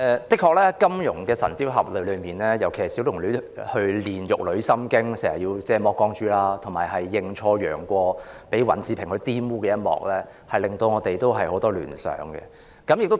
的確，在金庸《神鵰俠侶》一書中，小龍女練玉女心經時要全身赤裸，以及認錯楊過而被尹志平玷污一幕，均令我們有很多聯想。